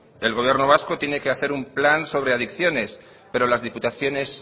el gobierno vasco tiene que hacer un plan sobre adicciones pero las diputaciones